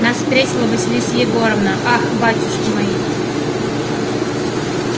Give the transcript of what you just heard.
нас встретила василиса егоровна ах батюшки мои